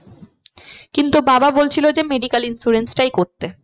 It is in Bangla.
কিন্তু বাবা বলছিলো যে medical insurance টাই করতে।